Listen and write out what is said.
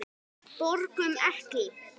Borgum Ekki!